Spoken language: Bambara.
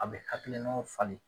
A bɛ hakilinaw falen.